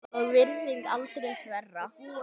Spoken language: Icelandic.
og virðing aldrei þverra.